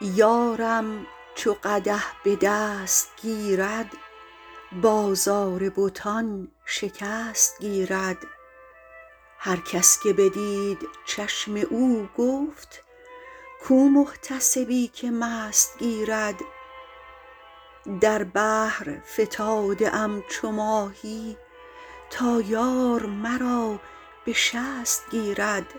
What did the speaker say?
یارم چو قدح به دست گیرد بازار بتان شکست گیرد هر کس که بدید چشم او گفت کو محتسبی که مست گیرد در بحر فتاده ام چو ماهی تا یار مرا به شست گیرد